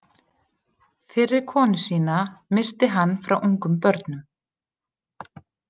Fyrri konu sína missti hann frá ungum börnum.